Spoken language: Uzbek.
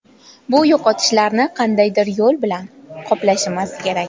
Bu yo‘qotishni qandaydir yo‘l bilan qoplashimiz kerak.